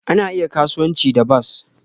Ana iya kasuwanci da bas